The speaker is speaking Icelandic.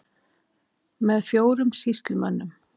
Með fjórum sýslumönnum